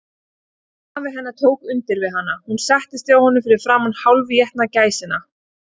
Afi hennar tók undir við hana, og hún settist hjá honum fyrir framan hálfétna gæsina.